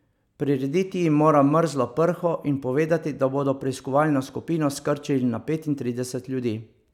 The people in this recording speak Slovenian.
Prirediti jim mora mrzlo prho in povedati, da bodo preiskovalno skupino skrčili na petintrideset ljudi.